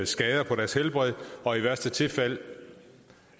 skader på deres helbred og i værste tilfælde